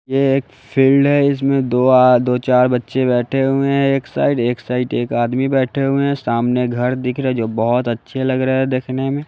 ये एक फील्ड है इसमें दो आ दो-चार बच्चे बैठे हुए हैं एक साइड एक साइड एक आदमी बैठे हुए है सामने घर दिख रहा है जो बहोत अच्छे लग रहे है देखने में।